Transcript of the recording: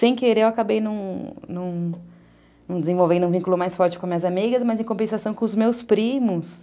Sem querer, eu acabei não não desenvolvendo um vínculo mais forte com as minhas amigas, mas, em compensação, com os meus primos.